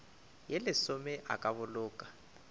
ye lesome a ka boloka